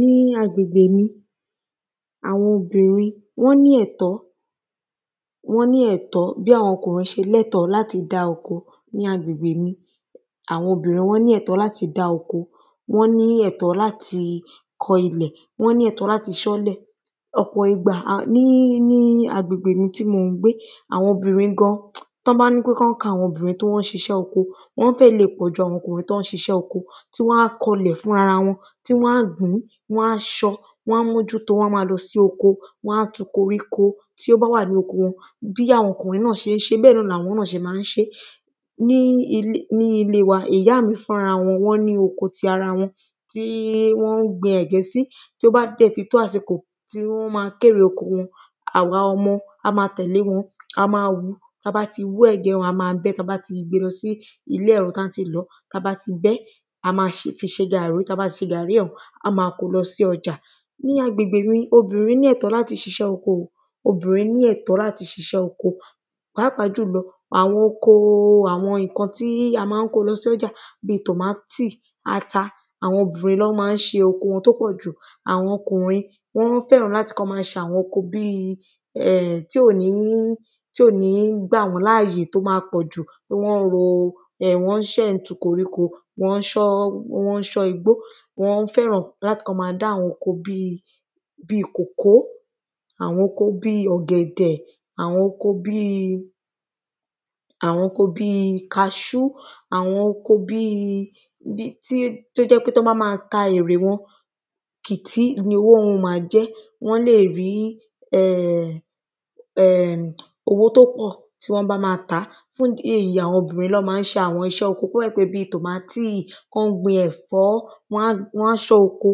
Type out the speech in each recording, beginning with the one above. Ní agbègbè mi àwọn obìnrin wọ́n ní ẹ̀tọ́ wọ́n ní ẹ̀tọ́ bí àwọn ọkùnrin ṣe ní ẹ̀tọ́ láti dá oko ní agbègbè mi àwọn obìnrin wọ́n ní ẹ̀tọ́ láti dá oko wọ́n ní ẹ̀tọ́ láti kọ ilẹ̀ wọ́n ní ẹ̀tọ́ láti ṣán ilẹ̀. Ọ̀pọ̀ ìgbà ní ní agbègbè tí mò ń gbé àwọn obìnrin gan tán bá ní pé kán kà àwọn obìnrin tán ń ṣiṣẹ́ oko wọ́n fẹ̀ lè pọ̀ju àwọn ọkùnrin tán ń ṣiṣẹ́ oko tí wọ́n á kọlẹ̀ fúnra wọn tí wọ́n á ṣán wọ́n á mójútó wọ́n á má lọ sí oko wọ́n á tu koríko tí ó bá wà nínú oko wọn bí àwọn okùnrin ṣé má ń ṣe bẹ́ẹ̀ ni àwọn náà ṣe má ń ṣe. Ní ní inú ilé wa ìyá mi fúnra ra ẹ̀ wọ́n ní oko ti ara wọn tí wọ́n gbin ẹ̀gẹ́ sí tó bá dẹ̀ ti tó àsìkò tí wọ́n má kó èrè oko wọn àwa ọmọ a má tẹ̀lé wọn a má hú tá bá ti hú ẹ̀gẹ́ yẹn a má bẹ́ tá bá ti gbé lọ sí ilé ẹ̀rọ tá bbá ti lọ̀ọ́ tá bá ti bẹ́ a má fi ṣe gàrrí tá bá ti ṣe gàrrí a má kó lọ sí ọjà Ní agbègbè mi obìnrin ní ẹ̀tọ́ láti ṣiṣẹ́ oko obìnrin ní ẹ̀tọ́ láti ṣiṣẹ́ oko pàápàá jùlọ àwọn oko àwọn nǹkan tí a má ń kó lọ sọ́jà bí tòmátì ata àwọn obìnrin ló má ń ṣe oko wọn tó pọ̀ jù. Àwọn ọkùnrin wọ́n fẹ́ràn láti kán má ṣe àwọn oko bí um tí ò ní tí ò ní gbà wọ́n láàyè tó má pọ̀jù um ó má ń ro kán ṣán koríko kán ṣán igbó wọ́n fẹ́ràn kí wọ́n má dá àwọn oko bí bí kòkó àwọn oko bí ọ̀gẹ̀dẹ̀ àwọn oko bí àwọn oko bí kaṣú àwọn oko bí bí tí ó jẹ́ pé tán bá má ka erè wọn kì tí iru owó wọ́n má jẹ́ wọ́n lè rí um owó tó kù tí wọ́n bá má tàá tí èyí àwọn obìnrin ló má wá ṣe iṣẹ́ oko bí tòmátì kán gbin ẹ̀fọ́ wọ́n á ṣán oko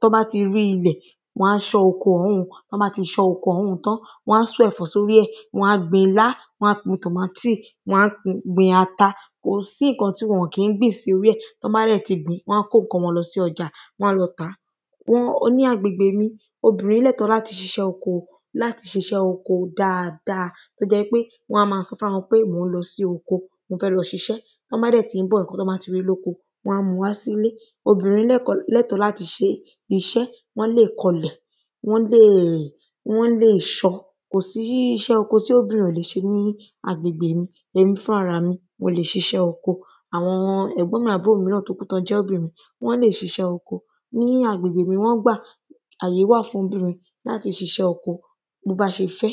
tán bá ti rí ilẹ̀ wọ́n á ṣán oko ọ̀hún un tán bá ti ṣán oko ọ̀hún tán wọ́n á kó ẹ̀fọ́ sórí ẹ̀ wọ́n á gbin ilá wọ́n á gbin tòmátì wọ́n á gbin ata kò sí nǹka tí wọn ò kí ń gbìn sí orí ẹ̀ tán bá dẹ̀ ti gbìn wọ́n á kó nǹkan wọn lọ sí ọjà wọ́n á dẹ̀ lọ tàá. Wọ́n ó ní agbègbè mi obìnrin náà tán bá ṣiṣẹ́ oko láti ṣiṣẹ́ oko dáada tó jẹ́ wípé wọ́n á má sọ wípé mò ń lọ sí oko tán lọ ṣiṣẹ́ tán bá dẹ̀ tí ń bọ̀ nǹkan tí wọ́n bá ti rí lókọ wọ́n á mú wá sílè obìnrin lè kan lẹ́tọ̀ láti ṣiṣẹ́ wọ́n lè kọlẹ̀ wọ́n lè wọ́n lè ṣán kò sí iṣẹ́ oko tí obìnrin ò lè ṣe ní agbègbè mi èmi fúnra ra mí mo lè ṣiṣẹ́ oko àwọn ẹ̀gbọ́n mi àbúrò mi tó jẹ́ obìnrin náà wọ́n lè ṣiṣẹ́ oko nínú agbègbè mi wọ́n gbà àyè wà fún wọn láti ṣiṣẹ́ oko bó bá ṣe fẹ́.